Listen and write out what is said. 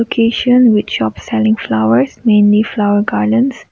education which shop selling flowers mainly flower gardens.